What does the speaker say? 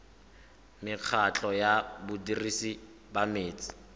mekgatlho ya badirisi ba metsi